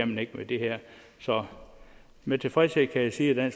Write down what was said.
man ikke med det her så med tilfredshed kan jeg sige at